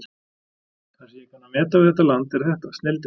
Það sem ég kann að meta við þetta land er þetta: snilldin.